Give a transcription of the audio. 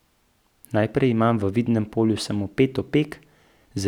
Najprej imam v vidnem polju samo pet opek, zelo zabrisanih opek.